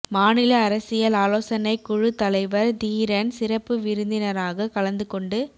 மாநில அரசியல் ஆலோசனைக்குழுத் தலைவர் தீரன் சிறப்பு விருந்தினராக கலந்து கொண்டு